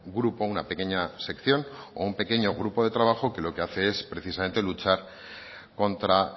grupo una pequeña sección o un pequeño grupo de trabajo que lo que hace es precisamente luchar contra